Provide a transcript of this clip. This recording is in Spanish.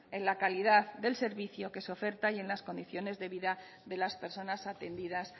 en la calidad del servicio que se oferta y en las condiciones de vida de las personas atendidas